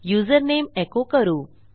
username एको करू